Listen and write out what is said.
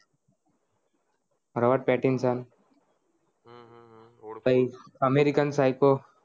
Robert Pattinson પચિ American Psycho